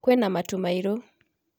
Kwĩna matu mairũ